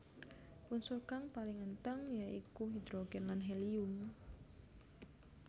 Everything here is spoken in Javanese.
Unsur kang paling èntheng ya iku hidrogen lan helium